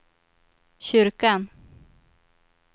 kyrkan